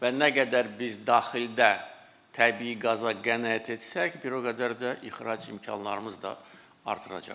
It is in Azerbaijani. Və nə qədər biz daxildə təbii qaza qənaət etsək, bir o qədər də ixrac imkanlarımız da artıracaq.